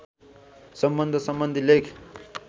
सम्बन्ध सम्बन्धी लेख